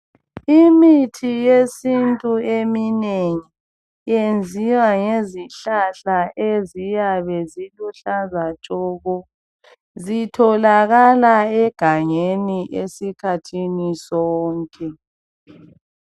Imithi yesintu eminengi yenziwa ngezihlahla eziyabe ziluhlaza tshoko, zitholakala egangeni esikhathini sonke.